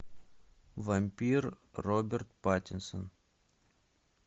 вампир роберт паттинсон